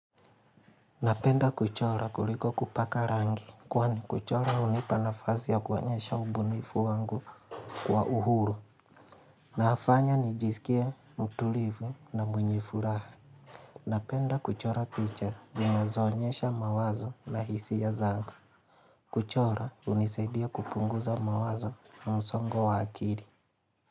Napenda kuchora kuliko kupaka rangi. Kwani kuchora hunipa nafazi ya kuonyesha ubunifu wangu kwa uhuru. Na hafanya nijiskie mtulivu na mwenye furaha. Napenda kuchora picha zinazoonyesha mawazo na hisia zangu. Kuchora unisaidia kupunguza mawazo na msongo wa akiri.